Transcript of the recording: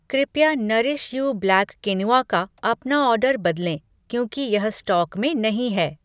कृपया nourish you black quinoa का अपना ऑर्डर बदलें क्योंकि यह स्टॉक में नहीं है।